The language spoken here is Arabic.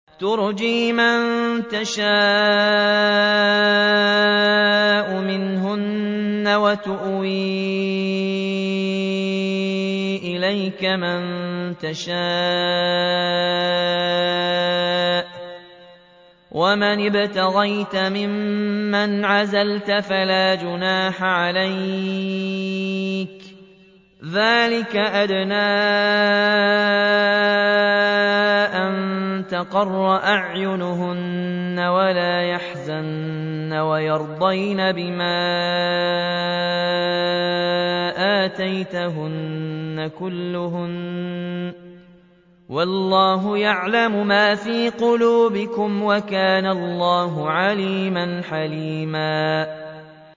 ۞ تُرْجِي مَن تَشَاءُ مِنْهُنَّ وَتُؤْوِي إِلَيْكَ مَن تَشَاءُ ۖ وَمَنِ ابْتَغَيْتَ مِمَّنْ عَزَلْتَ فَلَا جُنَاحَ عَلَيْكَ ۚ ذَٰلِكَ أَدْنَىٰ أَن تَقَرَّ أَعْيُنُهُنَّ وَلَا يَحْزَنَّ وَيَرْضَيْنَ بِمَا آتَيْتَهُنَّ كُلُّهُنَّ ۚ وَاللَّهُ يَعْلَمُ مَا فِي قُلُوبِكُمْ ۚ وَكَانَ اللَّهُ عَلِيمًا حَلِيمًا